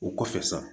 O kɔfɛ sa